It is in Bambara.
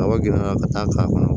Kaba girinya ka taa k'a kɔnɔ